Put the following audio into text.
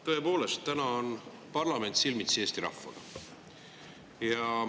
Tõepoolest, täna on parlament silmitsi Eesti rahvaga.